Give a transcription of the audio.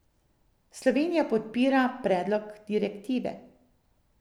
Slovenija podpira predlog direktive.